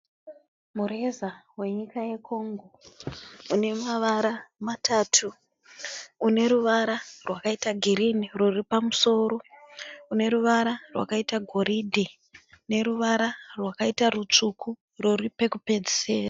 Mureza wenyika ye Congo une mavara matatu une ruvara rwakaita girini ruri pamusoro une ruvara rwakaita goridhe neruvara rwakaita rutsvuku uro ruri pekupedzisira.